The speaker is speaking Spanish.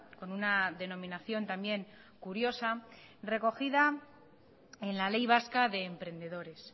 con una denominación también curiosa recogida en la ley vasca de emprendedores